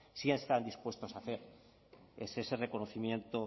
sí están dispuestos a hacer es ese reconocimiento